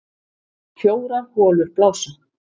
Fjórar holur blása